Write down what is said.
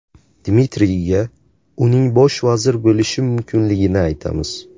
Dmitriyga uning bosh vazir bo‘lishi mumkinligini aytamiz’.